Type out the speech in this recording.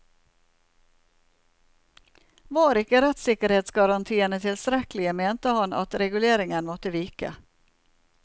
Var ikke rettssikkerhetsgarantiene tilstrekkelige, mente han at reguleringene måtte vike.